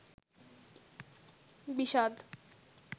বিষাদ